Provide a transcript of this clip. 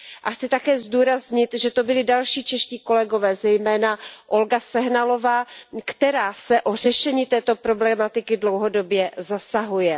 A chci také zdůraznit, že to byli další čeští kolegové, zejména Olga Sehnalová, která se o řešení této problematiky dlouhodobě zasahuje.